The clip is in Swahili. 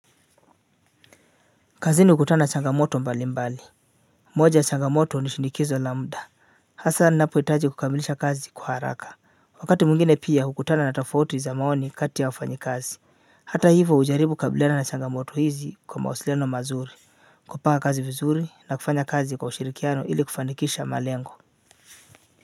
Kazini hukutana na changamoto mbali mbali moja ya changamoto nishinikizo la muda hasa ninapohitaji kukamilisha kazi kwa haraka wakati mwingine pia hukutana na tafauti za maoni kati ya wafanyikazi hata hivyo hujaribu kukabiliana na changoto hizi kwa mawasiliano mazuri kupanga kazi vizuri na kufanya kazi kwa ushirikiano ili kufanikisha malengo.